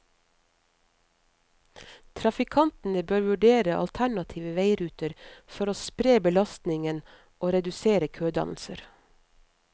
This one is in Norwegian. Trafikantene bør vurdere alternative veiruter for å spre belastningen og redusere kødannelser.